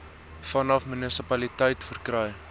vanaf munisipaliteite verkry